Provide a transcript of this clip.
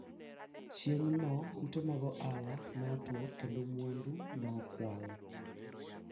siku hiyo nyumba za biashara zilivunjwa na mali kuibiwa